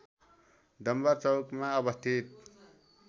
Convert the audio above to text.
डम्‍बर चौकमा अवस्थित